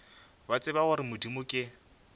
ba tseba gore modimo ke